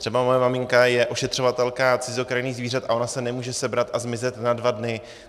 Třeba moje maminka je ošetřovatelka cizokrajných zvířat a ona se nemůže sebrat a zmizet na dva dny.